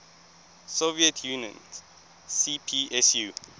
soviet union cpsu